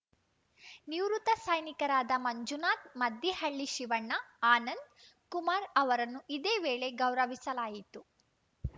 ನಿವೃತ್ತ ಸೈನಿಕರಾದ ಮಂಜುನಾಥ್‌ ಮದ್ದಿಹಳ್ಳಿ ಶಿವಣ್ಣ ಆನಂದ್‌ ಕುಮಾರ್‌ ಅವರನ್ನು ಇದೇ ವೇಳೆ ಗೌರವಿಸಲಾಯಿತು